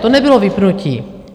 To nebylo vypnutí.